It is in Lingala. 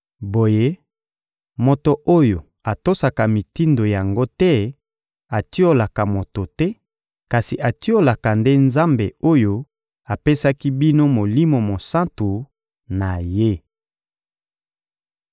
Boye moto oyo atosaka mitindo yango te atiolaka moto te kasi atiolaka nde Nzambe oyo apesaki bino Molimo Mosantu na Ye.